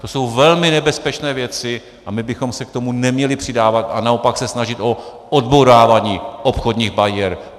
To jsou velmi nebezpečné věci a my bychom se k tomu neměli přidávat a naopak se snažit o odbourávání obchodních bariér.